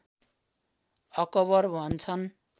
acquire भन्छन्